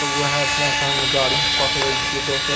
ते उहे ठामा से हम गाड़ी पकड़े छीये दोसर।